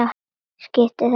Skiptir þetta máli?